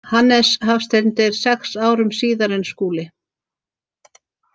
Hannes Hafstein deyr sex árum síðar en Skúli.